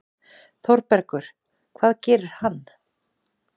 ÞÓRBERGUR: Hvað gerir hann?